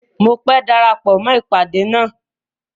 Mọ pé dárápọ̀ mọ ipádé ná.